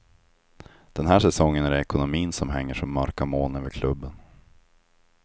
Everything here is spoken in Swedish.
Den här säsongen är det ekonomin som hänger som mörka moln över klubben.